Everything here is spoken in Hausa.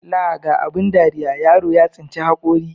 Laa ga abun dariya, yaro ya tsinci haƙori.